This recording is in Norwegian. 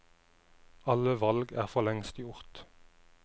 Alle valg er for lengst gjort.